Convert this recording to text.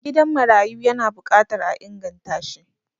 gidan marayu yana bukatar a inganta shi